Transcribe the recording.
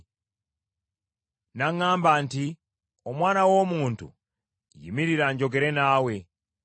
N’aŋŋamba nti, “Omwana w’omuntu, yimirira njogere naawe.”